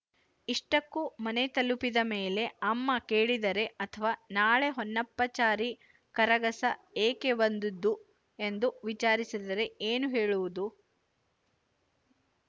ಇಷ್ಟಕ್ಕೂ ಮನೆ ತಲುಪಿದ ಮೇಲೆ ಅಮ್ಮ ಕೇಳಿದರೆ ಅಥವಾ ನಾಳೆ ಹೊನ್ನಪ್ಪಚಾರಿ ಕರಗಸ ಏಕೆ ಒಂದುದ್ದು ಎಂದು ವಿಚಾರಿಸಿದರೆ ಏನು ಹೇಳುವುದು